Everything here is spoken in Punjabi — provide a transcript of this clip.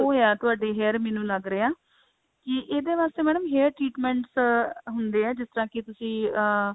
ਉਹ ਆ ਤੁਹਾਡੇ hair ਮੈਨੂੰ ਲੱਗ ਰਿਹਾ ਕਿ ਇਹਦੇ ਵਾਸਤੇ mam hair treatment ਹੁੰਦੇ ਹੈ ਜਿਸ ਕਰਕੇ ਤੁਸੀਂ ਅਹ